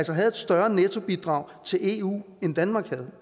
havde et større nettobidrag til eu end danmark havde